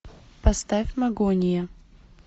поставь магония